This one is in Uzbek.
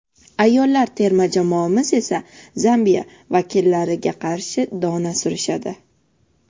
ayollar terma jamoamiz esa Zambiya vakillariga qarshi dona surishadi.